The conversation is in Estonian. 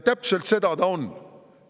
Täpselt seda ta on.